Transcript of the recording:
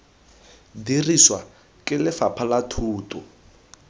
dirisiwa ke lefapha la thuto